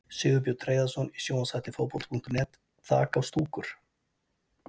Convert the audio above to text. Sigurbjörn Hreiðarsson í sjónvarpsþætti Fótbolta.net: Þak á stúkur!?